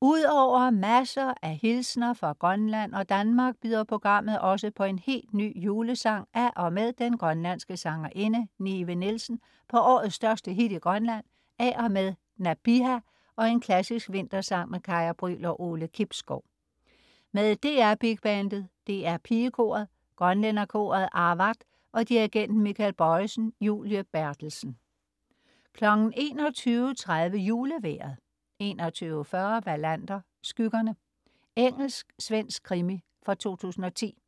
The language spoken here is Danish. Ud over masser af hilsener fra Grønland og Danmark byder programmet også på en helt ny julesang af og med den grønlandske sangerinde Nive Nielsen, på årets største hit i Grønland af og med Nabiha og en klassisk vintersang med Kaya Brüel og Ole Kibsgaard. Med DR Big Bandet, DR Pigekoret, grønlænderkoret Aavaat og dirigenten Michael Bojesen. Julie Berthelsen 21.30 Julevejret 21.40 Wallander: Skyggerne. Engelsk-svensk krimi fra 2010